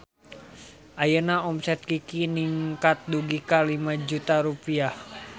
Ayeuna omset Kiky ningkat dugi ka 5 juta rupiah